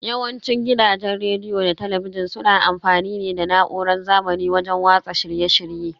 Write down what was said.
Yawanci gidajen rediyo da talabijin suna amfani ne da na'urar zamani wajen watsa shirye shirye.